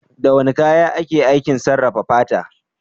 Da wane kaya ake aikin sarrafa fata?